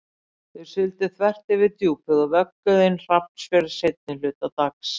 Þeir sigldu þvert fyrir Djúpið og vögguðu inn Hrafnsfjörð seinni hluta dags.